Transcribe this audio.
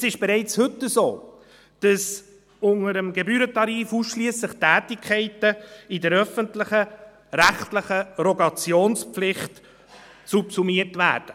Es ist bereits heute so, dass unter dem Gebührentarif ausschliesslich Tätigkeiten in der öffentlichen, rechtlichen Rogationspflicht subsumiert werden.